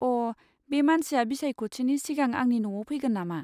अ', बे मानसिया बिसायख'थिनि सिगां आंनि न'आव फैगोन नामा?